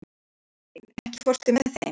Avelín, ekki fórstu með þeim?